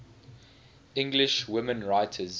english women writers